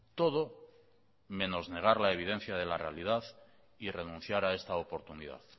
todo menos negar la evidencia de la realidad y renunciar a esta oportunidad